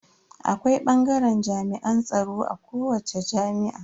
Akwai bangaren jami'an tsaro a kowace jami'a.